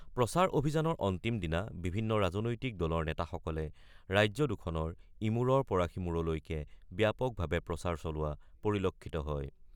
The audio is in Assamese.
প্ৰচাৰ অভিযানৰ অন্তিম দিনা বিভিন্ন ৰাজনৈতিক দলৰ নেতাসকলে ৰাজ্য দুখনৰ ইমূৰৰ পৰা সিমূৰলৈকে ব্যাপকভাৱে প্ৰচাৰ চলোৱা পৰিলক্ষিত হয়।